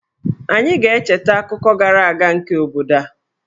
Anyị ga-echeta akụkọ gara aga nke obodo a.